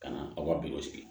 Ka na aw ka bi sigi